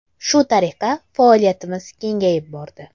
Shu tariqa faoliyatimiz kengayib bordi.